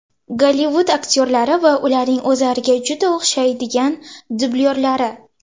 Gollivud aktyorlari va ularning o‘zlariga juda o‘xshaydigan dublyorlari .